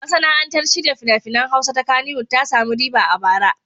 Masana'antar shirya fina-finan Hausa ta Kannywwod ta sami riba a bara.